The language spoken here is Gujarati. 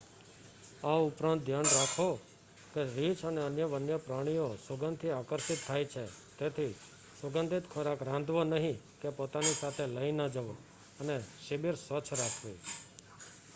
આ ઉપરાંત ધ્યાન રાખો કે રીછ અને અન્ય વન્યપ્રાણીઓ સુગંધથી આકર્ષિત થાય છે તેથી સુગંધિત ખોરાક રાંધવો નહી કે પોતાની સાથે લઈ ન જવો અને શિબિર સ્વચ્છ રાખવી